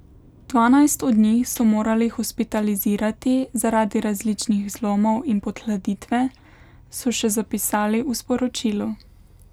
Dvanajst od njih so morali hospitalizirati zaradi različnih zlomov in podhladitve, so še zapisali v sporočilu.